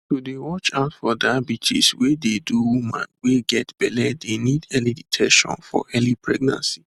to dey watch out for diabetes wey dey do woman wey get belle dey need early detection for early pregnancy